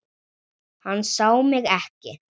Hann sá mig ekki.